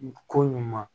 Ko ɲuman